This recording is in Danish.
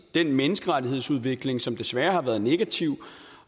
den menneskerettighedsudvikling som desværre har været negativ